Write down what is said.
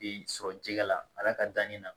Ee sɔrɔ jɛgɛ la a ka danni na